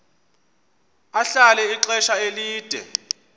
ahlala ixesha elide